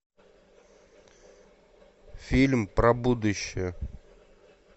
фильм про будущее